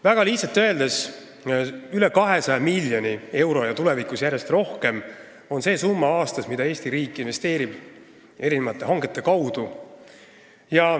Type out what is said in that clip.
Väga lihtsalt öeldes on üle 200 miljoni euro aastas ja tulevikus järjest rohkem see summa, mida Eesti riik investeerib erinevate hangete kaudu.